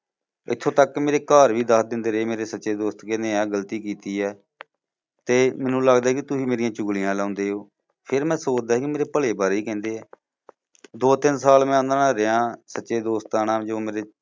ਇਥੋਂ ਤੱਕ ਕਿ ਮੇਰੇ ਘਰ ਵੀ ਦੱਸ ਦਿੰਦੇ ਰਹੇ ਮੇਰੇ ਸੱਚੇ ਦੋਸਤ ਕਿ ਇਹਨੇ ਆ ਗਲਤੀ ਕੀਤੀ ਹੈ। ਤੇ ਮੈਨੂੰ ਲਗਦਾ ਸੀ ਕਿ ਤੁਸੀਂ ਮੇਰੀਆਂ ਚੁਗਲੀਆਂ ਲਾਉਂਦੇ ਹੋ। ਫੇਰ ਮੈਂ ਸੋਚਦਾ ਸੀ ਮੇਰੇ ਭਲੇ ਬਾਰੇ ਹੀ ਕਹਿੰਦਿਆਂ। ਦੋ ਤਿੰਨ ਸਾਲ ਮੈਂ ਉਨ੍ਹਾਂ ਨਾਲ ਰਿਹਾ, ਸੱਚੇ ਦੋਸਤਾਂ ਨਾਲ ਜੋ ਮੇਰੇ